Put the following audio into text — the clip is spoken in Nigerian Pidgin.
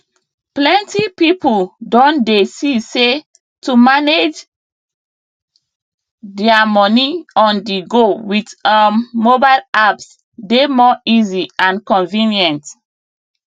plenty people don dey see say to manage their money onthego with um mobile apps dey more easy and convenient